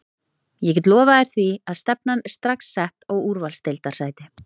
Ég get lofað þér því að stefnan er strax sett á úrvalsdeildarsæti.